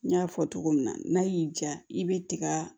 N y'a fɔ cogo min na n'a y'i ja i bɛ tiga